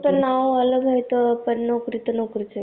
फक्त नावाला तर नोकरी च हाय